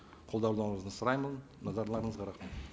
қолдауларыңызды сұраймын назарларыңызға рахмет